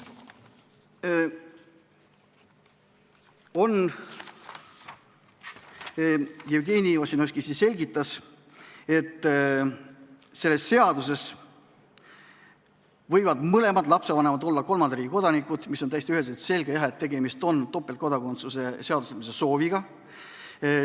Jevgeni Ossinovski selgitas, et selle seaduseelnõu järgi võivad mõlemad lapsevanemad olla kolmanda riigi kodanikud, millest on täiesti üheselt selge, et tegemist on topeltkodakondsuse seadustamise sooviga.